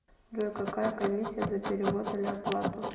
джой какая комиссия за перевод или оплату